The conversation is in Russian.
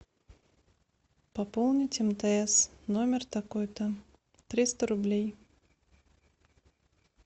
пополнить мтс номер такой то триста рублей